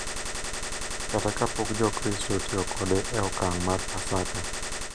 Kata kapok Jokristo otiyo kode e okang’ mar Paska.